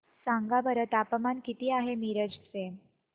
सांगा बरं तापमान किती आहे मिरज चे